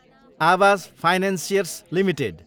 Awas financiers Ltd